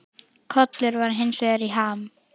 Kollur var hins vegar í ham.